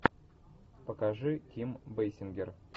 покажи ким бейсингер